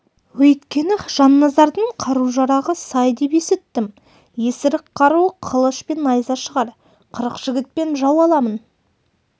өйткені жанназардың қару-жарағы сай деп есіттім есірік қаруы қылыш пен найза шығар қырық жігітпен жау аламын